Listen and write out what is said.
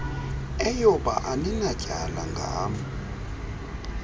eyoba aninatyala ngam